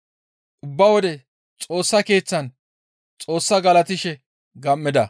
Ubba wode Xoossa Keeththan Xoossaa galatishe gam7ida.